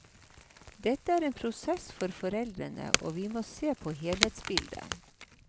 Dette er en prosess for foreldrene, og vi må se på helhetsbildet.